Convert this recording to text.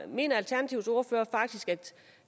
mener alternativets ordfører